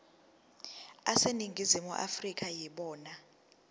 aseningizimu afrika yibona